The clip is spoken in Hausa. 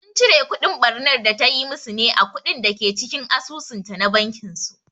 Sun cire kudin ɓarnar da tayi musu ne a kuɗin dake cikin asusun ta na bankin su